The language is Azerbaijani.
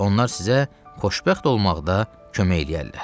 Onlar sizə xoşbəxt olmaqda kömək eləyərlər.